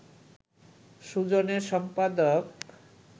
সুজনের সম্পাদক